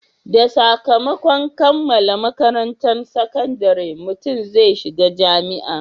Da sakamakon kammala makarantan sakandare, mutum zai shiga jami'a